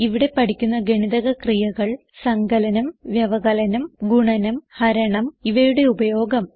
ഇവിടെ പഠിക്കുന്ന ഗണിതക ക്രിയകൾ സങ്കലനം വ്യവകലനം ഗുണനം ഹരണം ഇവയുടെ ഉപയോഗം